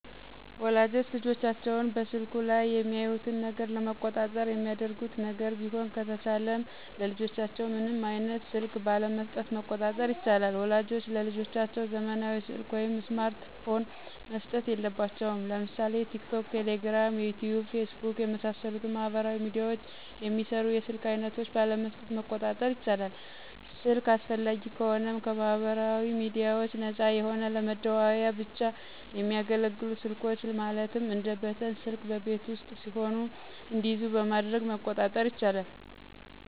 ወላጆች ልጆቻቸውን በስልኩ ላይ የሚያዩትን ነገር ለመቆጣጠር የሚያደርጉት ነገር ቢሆን ከተቻለም ለልጆቻቸው ምንም አይነት ስልክ ባለመሥጠት መቆጣጠር ይቻላል። ወላጆች ለልጆቻቸው ዘመናዊ ሰልክ ወይም ስማርት ፖን መስጠት የለባቸውም። ለምሳሌ ቲክቶክ፣ ቴሌግራም፣ ዩቲዩብ፣ ፌስቡክ የመሣሠሉትን ማህበራዊ ሚድያዎችን የሚሰሩ የስልክ አይነቶች ባለመስጠት መቆጣጠር ይቻላል። ስልክ አስፈላጊ ከሆነም ከማህበራዊ ሚድያዎች ነፃ የሆነ ለመደዋወያ ብቻ የሚያገለግሉ ስልኮች ማለትም እንደ በተን ስልክ በቤት ውስጥ ሲሆኑ እንዲይዙ በማድረግ መቆጣጠር ይቻላል።